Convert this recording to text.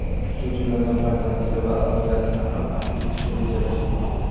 shu jumladan farzandlari va advokatini ham afv etishni rejalashtirmoqda.